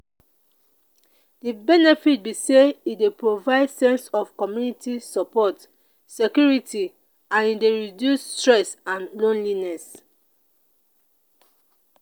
de benefits be say e dey provide sense of community support security and e dey reduce stress and loneliness.